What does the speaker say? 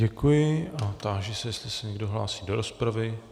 Děkuji a táži se, jestli se někdo hlásí do rozpravy.